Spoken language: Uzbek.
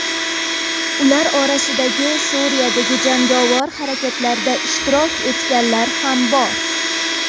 Ular orasida Suriyadagi jangovar harakatlarda ishtirok etganlar ham bor.